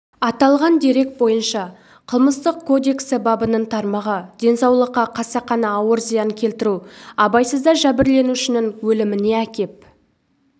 аталған дерек бойынша қылмыстық кодексі бабының тармағы денсаулыққа қасақана ауыр зиян келтіру абайсызда жәбірленушінің өліміне әкеп